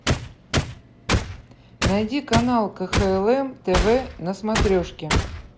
найди канал кхл тв на смотрешке